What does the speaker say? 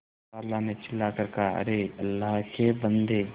खाला ने चिल्ला कर कहाअरे अल्लाह के बन्दे